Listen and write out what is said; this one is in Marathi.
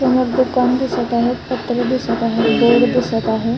समोर दुकान दिसत आहे पत्रे दिसत आहे बोर्ड दिसत आहे.